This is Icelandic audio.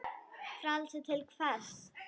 Frelsi til hvers?